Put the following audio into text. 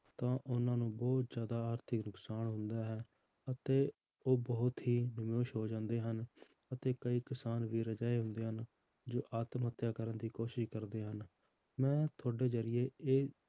ਤਾਂ ਉਹਨਾਂ ਨੂੰ ਬਹੁਤ ਜ਼ਿਆਦਾ ਆਰਥਿਕ ਨੁਕਸਾਨ ਹੁੰਦਾ ਹੈ ਅਤੇ ਉਹ ਬਹੁਤ ਹੀ ਹੋ ਜਾਂਦੇ ਹਨ ਅਤੇ ਕਈ ਕਿਸਾਨ ਵੀਰ ਅਜਿਹੇ ਹੁੰਦੇ ਹਨ, ਜੋ ਆਤਮ ਹੱਤਿਆ ਕਰਨ ਦੀ ਕੋਸ਼ਿਸ਼ ਕਰਦੇ ਹਨ, ਮੈਂ ਤੁਹਾਡੇ ਜ਼ਰੀਏ ਇਹ